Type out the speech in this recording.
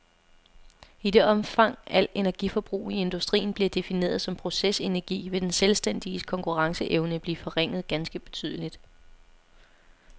I det omfang al energiforbrug i industrien bliver defineret som processenergi, vil den selvstændiges konkurrenceevne blive forringet ganske betydeligt.